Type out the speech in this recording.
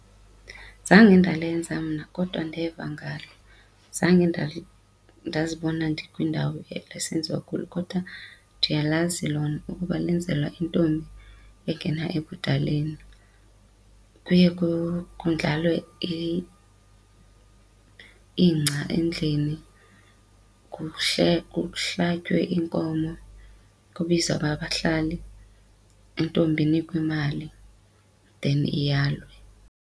Zange ndalenza mna kodwa ndeva ngalo. Zange ndazibona ndikwindawo esenziwa kulo kodwa ndiyalazi lona ukuba lenzelwa intombi engena ebudaleni, kuye kondlalwe ingca endlini kuhlatywe inkomo kubizwe abahlali. Intombi inikwe imali then iyalwe.